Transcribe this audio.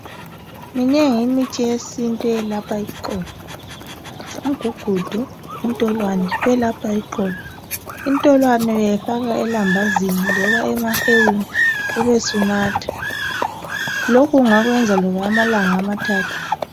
Minengi imithi yesintu eyelapha iqolo ,umgugudu, intolwane kuyelapha , intolwane ungayifaka elambazini loba emahewini ubesunatha, lokhu ungakwenza okwamalanga amathathu.